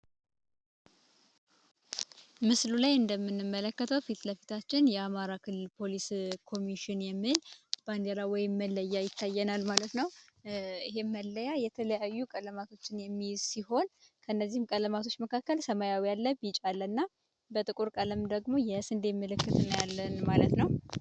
ምስሉ ላይ እንደምንመለከተው ፊት ለፊታችን የአማራ ክልል ፖሊስ ኮሚሽን የሚል ባንዲራ ወይም መለያ ይታየናል ማለት ነው ይህም መለያ የተለያዩ ቀለማቶችን የሚይዝ ሲሆን ከነዚህም ቀለማቶች መካከል ሰማያዊ አለ ቢጫ አለ እና በጥቁር ቀለም ደግሞ የእስንዴ ምልክት እናያለን ማለት ነው።